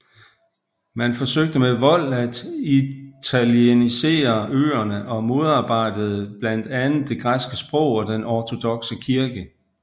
Man forsøgte med vold at italienisere øerne og modarbejdede blandt andet det græske sprog og den ortodokse kirke